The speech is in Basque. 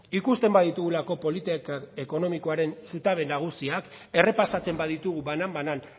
ikusten baditugulako politika ekonomikoarekin zutabe nagusiak errepasatzen baditugu banan banan